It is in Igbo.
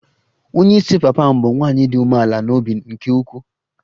Onye isi papa m bụ nwanyị dị umeala n'obi nke ukwuu